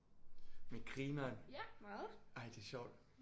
Men grineren ej det er sjovt